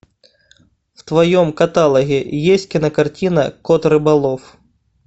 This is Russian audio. в твоем каталоге есть кинокартина кот рыболов